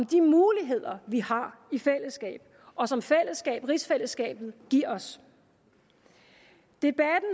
de muligheder vi har i fællesskab og som rigsfællesskabet giver os jeg